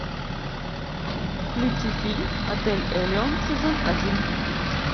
включи фильм отель элеон сезон один